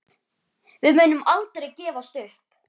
Við munum aldrei gefast upp.